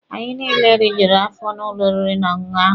Anyị niile rijuru afọ n'ụlọ oriri n'ọṅụṅụ ahụ.